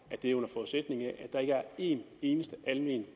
at det er under forudsætning af at der ikke er en eneste almen